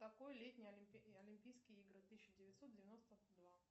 какой летние олимпийские игры тысяча девятьсот девяносто два